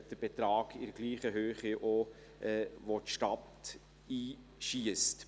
Einen Betrag in der gleichen Höhe schiesst auch die Stadt ein.